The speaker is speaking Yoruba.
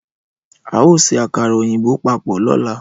Ao se akara oyinbo papo lola